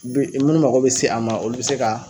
Bi munnu mago bɛ se a ma olu bɛ se ka